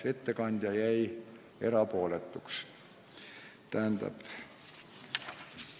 Ettekandja jäi selles küsimuses erapooletuks.